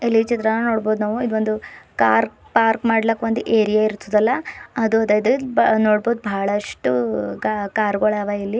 ಇಲ್ಲಿ ಚಿತ್ರವನ್ನು ನೋಡಬಹುದು ನಾವು ಕಾರ್ ಪಾರ್ಕ್ ಮಾಡಲಿಕ್ಕೆ ಒಂದು ಏರಿಯಾ ಇರ್ತಾತಲ್ಲ ಅದ್ ಇಲ್ಲಿ ನೋಡಬಹುದು ಬಹಳಷ್ಟು ಕಾರ್ ಕಾರುಗಳಿದಾವ ಇಲ್ಲಿ.